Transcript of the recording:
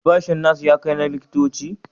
Albashin nas-nas ya kai na likitoci?